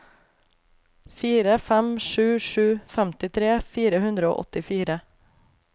fire fem sju sju femtitre fire hundre og åttifire